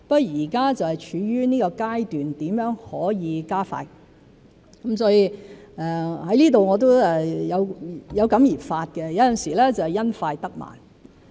現在是處於一個如何可以加快的階段，我在此亦有感而發——有時會因快得慢。